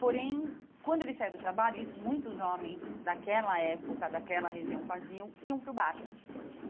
Porém, quando ele saía do trabalho, isso muitos homens daquela época, daquela região faziam, iam para o bar.